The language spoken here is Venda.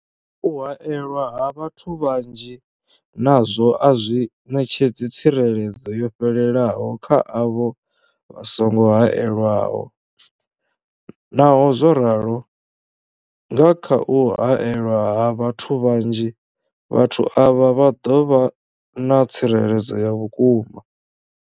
U haelwa ha vhathu vhanzhi nazwo a zwi ṋetshedzi tsireledzo yo fhelelaho kha avho vha songo haelwaho, Naho zwo ralo, nga kha u haelwa ha vhathu vhanzhi, vhathu avha vha ḓo vha na tsireledzo ya vhukuma.